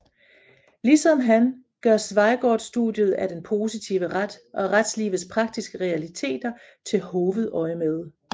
Ligesom han gør Schweigaard studiet af den positive ret og retslivets praktiske realiteter til hovedøjemed